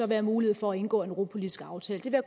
være mulighed for at indgå en europapolitisk aftale det vil